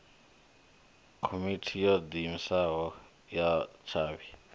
komiti yo diimisaho ya tshavhi